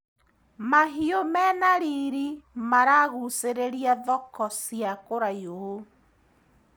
Mahiũ mena riri maragucĩrĩria thoko cia kũraihu.